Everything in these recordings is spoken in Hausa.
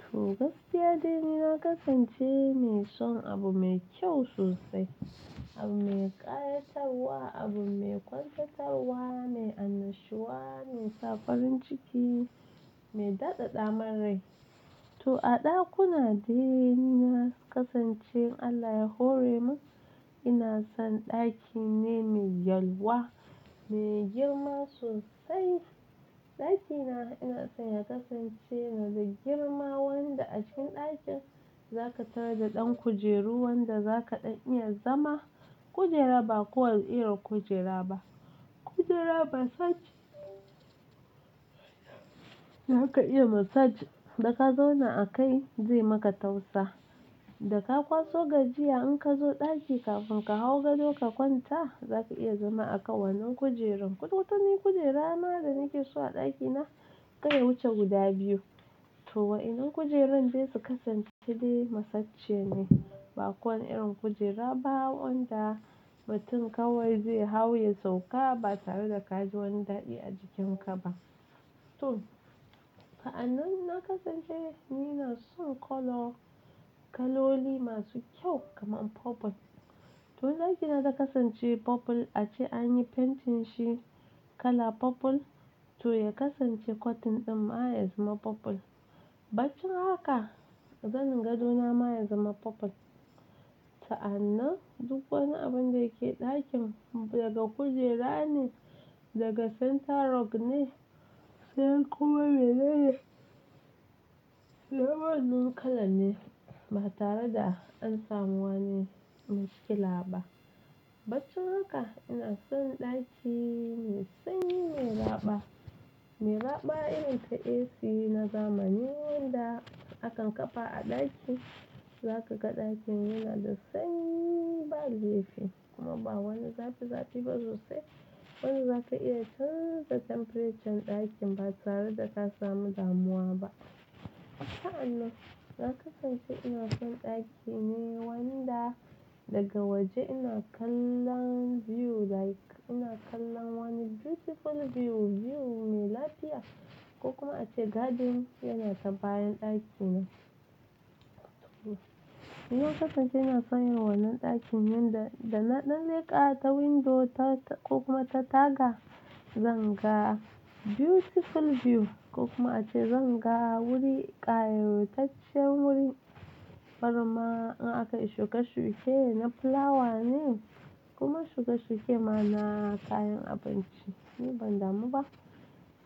To, gaskiya dai ni na kasance mai son abu mai kyau sosai, abu mai ƙayatarwa, abu mai kwantatarwa, mai annashuwa, mai sa farin ciki, mai dadada marai. To a ɗakuna dai na kasance Allah ya hore mu. Ina son ɗaki ne mai yalwa, mai girma sosai. Ɗakina ina son ya kasance na da girma wanda a cikin ɗakin za ka tar da ɗan kujeru wanda za ka ɗan iya zama. Kujera ba kowane irin kujera ba, kujera massage. Da aka iya massage da ka zauna a kai zai maka tausa. Da ka kwaso gajiya in ka zo ɗaki kafin ka hau gado ka kwanta, za ka iya zama a kan wannan kujerun. Kututuwan kujera na da nake so a ɗakina kai wuce guda biyu. To waɗannan kujerun zasu kasance dai massage ne, ba kowane irin kujera ba wanda mutum kawai zai hau ya sauka ba tare da ka ji wani daɗi a jikinka ba. To, wayannan na kasance ni na son colour, kaloli masu kyau kamar purple. To ɗakina na kasance purple ace anyi painting shi kala purple to ya kasance cotton din ma ya zama purple. Baccin haka zanin gadona ma ya zama purple. Sa'annan duk wani abun da yake ɗakin daga kujera ne, daga center rug ne sai kuma menene. Level ɗin kala ne ba tare da an samu wani miskila ba. Baccin haka ina son ɗaki mai sanyi mai raɓa. Mai raɓa irin ta AC na zamani wanda akan kafa a ɗaki. Za ka ga ɗakin yana da sanyi ba laifi kuma ba wani zafi zafi ba sosai. Wanda za ka iya canza temperature ɗakin ba tare da ka samu damuwa ba. Sa'annan na kasance ina son ɗaki me wanda daga waje ina kallon view like ina kallon wani beautiful view, view mai lafiya ko kuma ace garden yana ta bayan ɗakina. To, yanzu kasance ina son yawan wannan ɗakin man da, da na ɗan leƙa ta window ta ta ko kuma ta taga, zan ga beautiful view ko kuma ace zan ga wuri, ƙayutaccen wurin. Farma in aka yi shuke shuke na fulawa ne kuma shuke shuke ma na kayan abinci. Ni ban damu ba.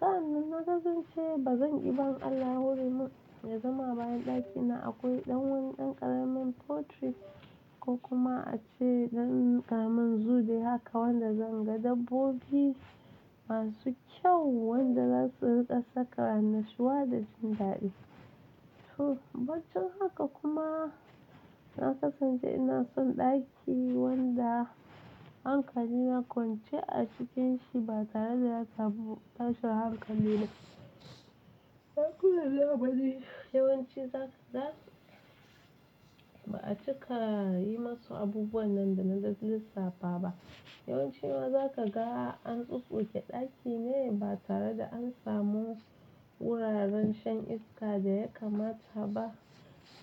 Sa'annan na kasance ba zan ƙi ba Allah hore mu, da zama bayan ɗakina akwai ɗan wani ɗan ƙaramin portrait ko kuma ace ɗan ƙaramin zoo dai haka wanda zan ga dabbobi masu kyau wanda zasu riƙa sakara nashiwa da jin daɗi. To, baccin haka kuma na kasance ina son ɗaki wanda hankali na kwance a cikinshi ba tare da ya tabu tashin hankali na. Ɗakuna da abadi yawanci za su, ba'a cika yi masu abubuwan nan da na zai lissafa ba. Yawanci ma za ka ga an tsutsuke ɗaki ne ba tare da an samu wuraren shan iska da ya kamata ba.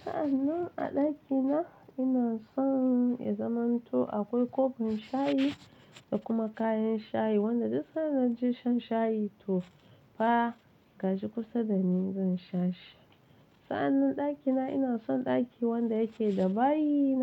Sa'annan a ɗakina ina son ya zama to akwai kofin shayi da kuma kayan shayi wanda duk sanda da naje shan shayi to fa ka ji kusa da ni zan sha shi. Sa'annan ɗakina ina son ɗaki wanda yake da bayi na.